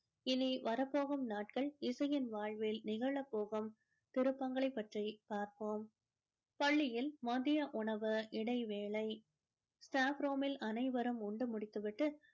இனி வரப்போகும் நாட்கள் இசையின் வாழ்வில் நிகழப்போகும் திருப்பங்களை பற்றி பார்ப்போம் பள்ளியில் மதிய உணவு இடைவேலை staff room மில்அனைவரும் உண்டு முடித்து விட்டு